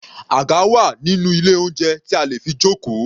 Àga wà nínú ilé oúnjẹ tí a lè fi jókòó.